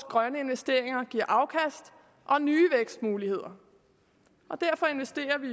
grønne investeringer giver afkast og nye vækstmuligheder derfor investerer vi